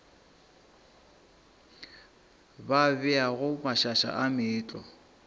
ba beago mašaša a meetlwa